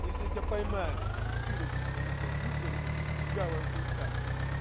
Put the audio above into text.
если я тебя поймаю утырок сука мусор мусорный блять легавая хуита